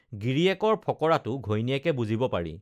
গিৰিয়েকৰ ফঁকৰাটো ঘৈণীয়েকে বুজিব পাৰি